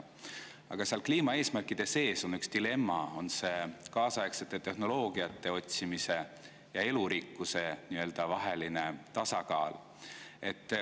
Aga seal kliimaeesmärkide sees on üks dilemma: see kaasaegsete tehnoloogiate otsimise ja elurikkuse vaheline tasakaal.